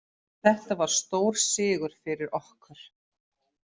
Þetta var stór sigur fyrir okkur.